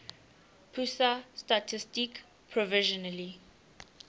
pusat statistik provisionally